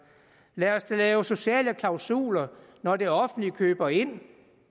lad os da lave sociale klausuler når det offentlige køber ind